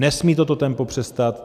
Nesmí toto tempo přestat.